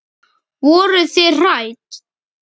Eva: Voruð þið hrædd?